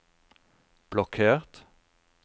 blokkert